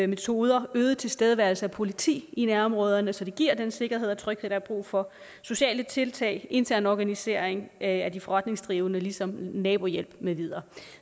metoder øget tilstedeværelse af politi i nærområderne så det giver den sikkerhed og tryghed der er brug for sociale tiltag intern organisering af de forretningsdrivende ligesom nabohjælp med videre